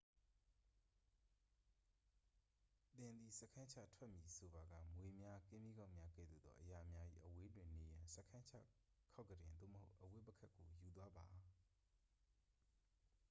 သင်သည် စခန်းချထွက်မည်ဆိုပါက မြွေများ ကင်းမြီးကောက်များ ကဲ့သို့သောအရာများ၏ အဝေးတွင်နေရန် စခန်းချခေါက်ကုတင် သို့မဟုတ် အဝတ်ပုခက်ကို ယူသွားပါ